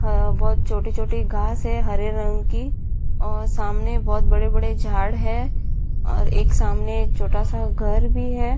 हां बहुत छोटी छोटी घास है हरे रंग की और सामने बहुत बड़े-बड़े झाड़ है और एक सामने छोटा-सा घर भी है ।